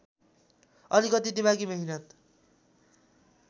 अलिकति दिमागी मेहनत